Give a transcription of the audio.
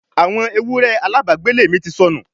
àwọn ewúrẹ́ alábàágbélé mi ti sọnù